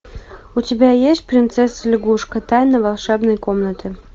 у тебя есть принцесса лягушка тайна волшебной комнаты